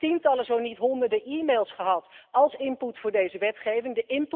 Ik heb tientallen, zo niet honderden e-mails gehad als input voor deze wetgeving.